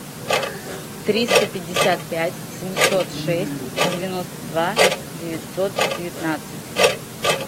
триста пятьдесят пять семьсот шесть девяносто два девятьсот девятнадцать